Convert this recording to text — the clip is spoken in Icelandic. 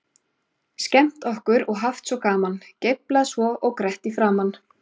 Skemmt okkur og haft svo gaman, geiflað svo og grett í framan.